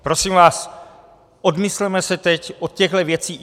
Prosím vás, odmysleme se teď od těchto věcí.